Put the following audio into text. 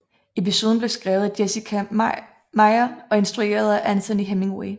Episoden blev skrevet af Jessica Meyer og instrueret af Anthony Hemingway